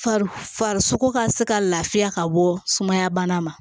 Farisogo ka se ka lafiya ka bɔ sumaya bana ma